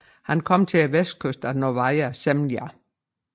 Han kom til vestkysten af Novaja Zemlja